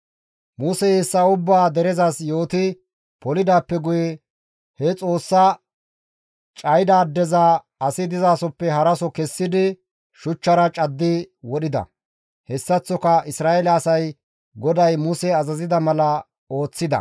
Musey hessa ubbaa derezas yooti polidaappe guye he Xoossaa cayida addeza asi dizasoppe haraso kessidi shuchchara caddi wodhida; hessaththoka Isra7eele asay GODAY Muse azazida mala ooththida.